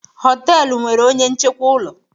họtelu nwere onye nchekwa ụlọ